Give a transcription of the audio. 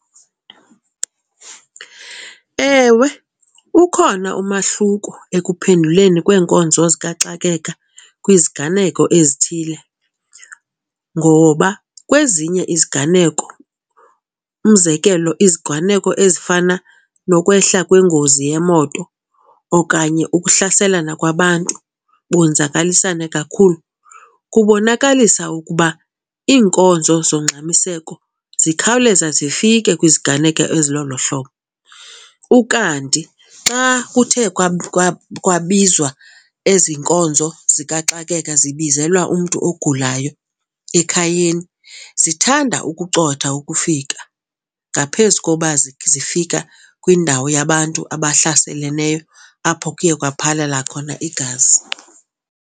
Ewe, ukhona umahluko ekuphenduleni kweenkonzo zikaxakeka kwiziganeko ezithile ngoba kwezinye iziganeko umzekelo, iziganeko ezifana nokwehla kwengozi yemoto okanye ukuhlaselana kwabantu bonzakalisane kakhulu, kubonakalisa ukuba iinkonzo zongxamiseko zikhawuleza zifike kwiziganeko ezilolo hlobo. Ukanti xa kuthe kwabizwa ezi nkonzo zikaxakeka, zibizelwa umntu ogulayo ekhayeni zithanda ukucotha ukufika ngaphezu koba zifika kwindawo yabantu abahlaseleneyo apho kuye kwaphalala khona igazi.